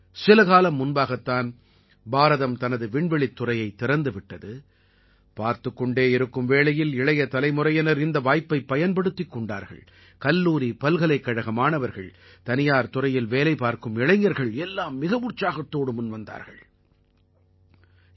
சில காலம் முன்பாகத் தான் பாரதம் தனது விண்வெளித்துறையைத் திறந்து விட்டது பார்த்துக் கொண்டே இருக்கும் வேளையில் இளைய தலைமுறையினர் இந்த வாய்ப்பைப் பயன்படுத்திக் கொண்டார்கள் கல்லூரி பல்கலைக்கழக மாணவர்கள் தனியார் துறையில் வேலை பார்க்கும் இளைஞர்கள் எல்லாம் மிக உற்சாகத்தோடு முன் வந்தார்கள்